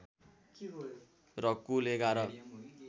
र कुल ११